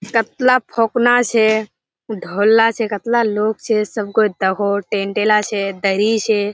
केतला फोकना छे धोला छे केतला लोक छे सबगई देखोहो टेंट ला छे दड़ीला छे।